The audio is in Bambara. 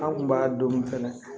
An kun b'a don fɛnɛ